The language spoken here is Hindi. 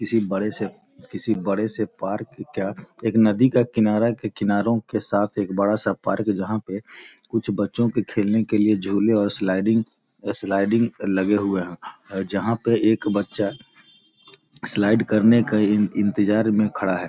किसी बड़े से किसी बड़े से पार्क का एक नदी का किनारा के किनारो के साथ एक बड़ा सा पार्क जहाँ पे कुछ बच्चे के खेलने के लिए झूले स्लाइडिंग स्लाइडिंग लगे हुए है जहाँ पे एक बच्चा स्लाइड करने का इन इंतजार में खड़ा है।